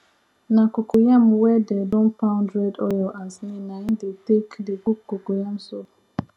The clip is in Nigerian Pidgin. na cocoyam wey dey don pound red oil and snail na im dem take dey cook cocoyam soup